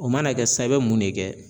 O mana kɛ sisan i bɛ mun de kɛ